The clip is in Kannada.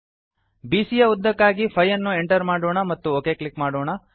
ಬಿಸಿಯ ಯ ಉದ್ದಕ್ಕಾಗಿ 5 ಅನ್ನು ಎಂಟರ್ ಮಾಡೋಣ ಮತ್ತು ಒಕ್ ಕ್ಲಿಕ್ ಮಾಡೋಣ